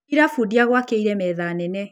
ĩra bundi agwakĩre metha nene.